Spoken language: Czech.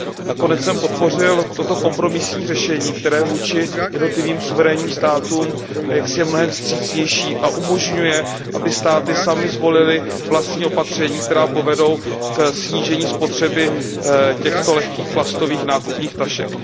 Nakonec jsem podpořil toto kompromisní řešení, které vůči jednotlivým suverénním státům je mnohem vstřícnější a umožňuje, aby si státy zvolily vlastní opatření, která povedou ke snížení spotřeby lehkých plastových nákupních tašek.